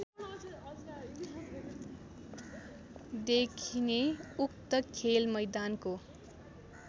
देखिने उक्त खेलमैदानको